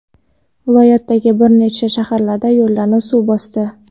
Viloyatdagi bir nechta shaharlarda yo‘llarni suv bosdi.